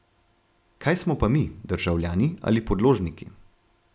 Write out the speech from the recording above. Kaj smo pa mi, državljani ali podložniki?